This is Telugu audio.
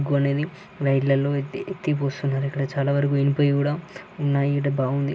ఎక్కడా చాల వరకు ఇనుపవి కూడా ఉనాయి ఈడ బాగుంది.